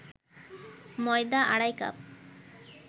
ময়দা আড়াই কাপ